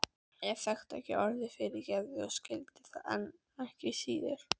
Ég þekkti ekki orðið fyrirgefðu og skildi það enn síður.